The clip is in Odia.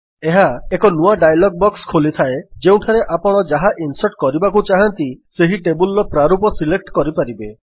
ଏହା ଏକ ନୂଆ ଡାୟଲଗ୍ ବକ୍ସ ଖୋଲିଥାଏ ଯେଉଁଠାରେ ଆପଣ ଯାହା ଇନ୍ସର୍ଟ କରିବାକୁ ଚାହାଁନ୍ତି ସେହି ଟେବଲ୍ ର ପ୍ରାରୂପ ସିଲେକ୍ଟ କରିପାରିବେ